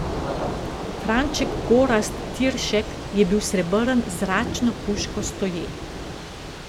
Franček Gorazd Tiršek je bil srebrn z zračno puško stoje.